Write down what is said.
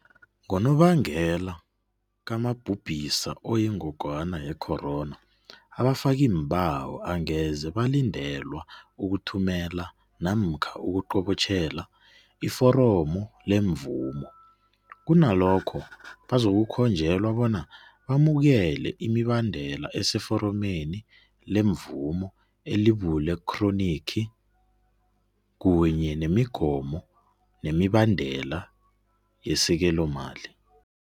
Ngonobangela kamabhubhisa oyingogwana yecorona, abafakiimbawo angeze balindelwa ukuthumela namkha ukuqobotjhela iforomo lemvumo, kunalokho bazokukhonjelwa bona bamukele imibandela eseforomeni lemvumo elibule khronikhi kunye nemigomo nemibandela yesekelomali.